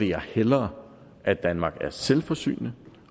jeg hellere at danmark er selvforsynende